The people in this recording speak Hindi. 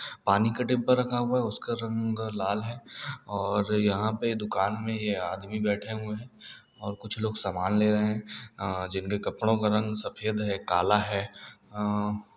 पानी का टेम्पो रखा हुआ है उसका रंग लाल है और यहाँ पे दुकान में ये आदमी बैठे हुए हैं और कुछ लोग सामान ले रहे हैं हाँ जिनके कपड़ो का रंग सफ़ेद है कला है। अ --